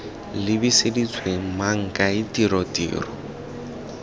lebiseditswe mang kae tiro tiro